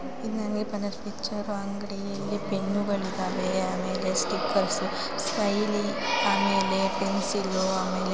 ಇದೊಂದು ಪಿಕ್ಚರ್ಲಿನ ಅಂಗಡಿ ಇಲ್ಲಿ ಪೆನ್ನುಗಳಿ ಇದ್ದಾವೆ ಆಮೇಲೆ ಸ್ಟಿಕ್ಕರ್ಸ್ ಸ್ಮೈಲಿ ಆಮೇಲೆ ಪೆನ್ಸಿಲ್ ಆಮೇಲೆ --